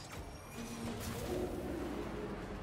ищи шоу в ютьюбе